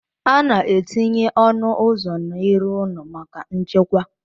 A na-etinye ọnụ ụzọ n'iru ụlọ maka nchekwa